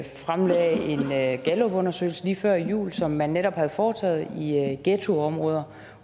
fremlagde en gallupundersøgelse lige før jul som man netop havde foretaget i ghettoområder